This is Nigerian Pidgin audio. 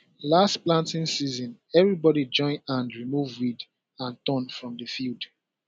last planting season everybody join hand remove weed and thorn from the field